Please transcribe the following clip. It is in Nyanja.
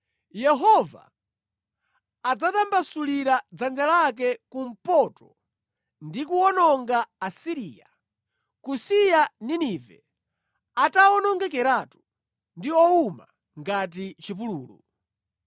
Yehova adzatambasulira dzanja lake kumpoto ndi kuwononga Asiriya, kusiya Ninive atawonongekeratu ndi owuma ngati chipululu.